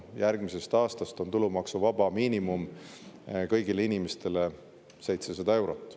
Järgmisest aastast on tulumaksuvaba miinimum kõigile inimestele 700 eurot.